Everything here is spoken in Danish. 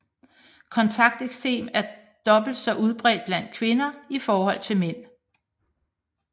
Kontakteksem er dobbelt så udbredt blandt kvinder i forhold til mænd